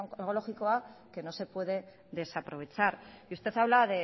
onkologikoa que no se puede desaprovechar y usted habla